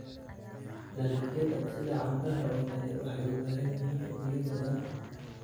Dalagyada sida canbaha oo kale waxay u baahan yihiin biyo badan.